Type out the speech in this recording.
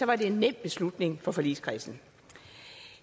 var det en nem beslutning for forligskredsen